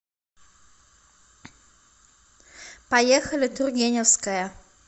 поехали тургеневская